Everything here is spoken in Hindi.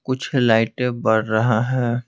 कुछ लाइट बढ़ रहा है।